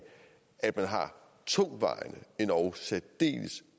at man har tungtvejende endog særdeles